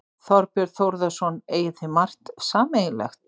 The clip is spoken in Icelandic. Þorbjörn Þórðarson: Eigið þið margt sameiginlegt?